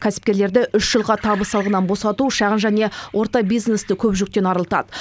кәсіпкерлерді үш жылға табыс салығынан босату шағын және орта бизнесті көп жүктен арылтады